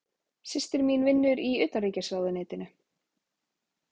Systir mín vinnur í Utanríkisráðuneytinu.